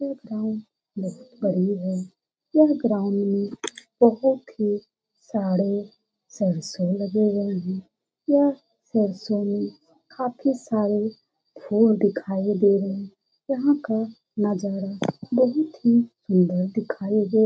यह ग्राउंड बहुत बड़ी है यह ग्राउंड में बहुत ही सारे सरसों लगे हुए हैं यह सरसों में काफी सारे फूल दिखाई दे रहे यहां का नजारा बहुत ही सुंदर दिखाई --